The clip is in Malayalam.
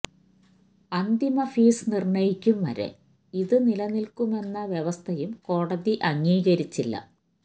അന്തിമ ഫീസ് നിര്ണയിക്കും വരെ ഇതു നിലനില്ക്കുമെന്ന വ്യവസ്ഥയും കോടതി അംഗീകരിച്ചില്ല